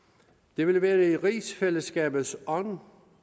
det ville være i rigsfællesskabets ånd